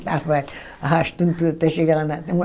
estava arrastando tudo até chegar lá.